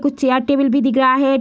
कुछ chair table भी दिख रहा है।